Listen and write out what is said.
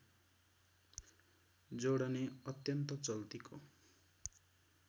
जोडने अत्यन्त चल्तीको